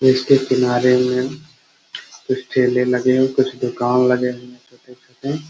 इसके किनारे मे कुछ ठेले लगे हैं कुछ दुकान लगे हुए हैं छोटे-छोटे --